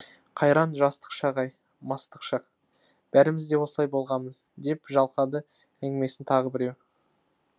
қайран жастық шақ ай мастық шақ бәріміз де осылай болғамыз деп жалғады әңгімесін тағы біреуі